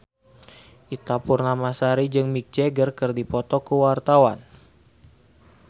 Ita Purnamasari jeung Mick Jagger keur dipoto ku wartawan